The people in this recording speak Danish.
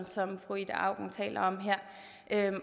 fru ida auken taler om her